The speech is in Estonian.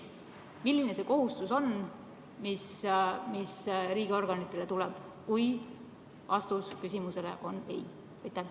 Milline see kohustus on, mis riigiorganitele tuleb, kui vastus küsimusele on ei?